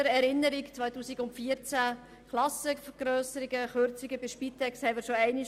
Im Jahr 2014 haben wir Klassenvergrösserungen, Kürzungen bei der Spitex und so weiter beschlossen.